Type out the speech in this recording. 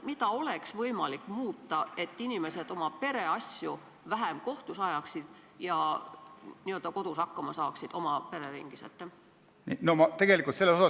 Mida oleks võimalik muuta, et inimesed ajaksid oma pereasju vähem kohtus ja saaksid n-ö kodus hakkama, oma pereringis?